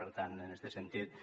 per tant en este sentit